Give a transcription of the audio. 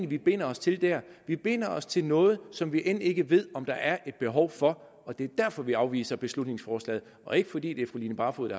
vi binder os til der vi binder os til noget som vi end ikke ved om der er et behov for og det er derfor vi afviser beslutningsforslaget ikke fordi det er fru line barfod